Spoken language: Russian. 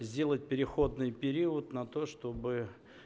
сделать переходный период на то чтобы